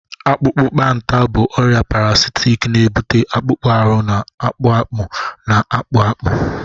Akpụkpanta bụ ọrịa parasitic na-ebute akpụkpọ ahụ na-akpụ akpụ, na-akpụ akpụ